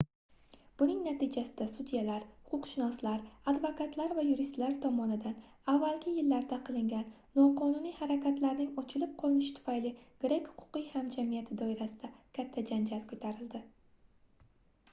buning natijasida sudyalar huquqshunoslar advokatlar va yuristlar tomonidan avvalgi yillarda qilingan noqonuniy harakatlarning ochilib qolinishi tufayli grek huquqiy hamjamiyati doirasida katta janjal koʻtarildi